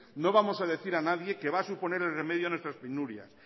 no vamos a decir a nadie que va a suponer el remedio a nuestras penurias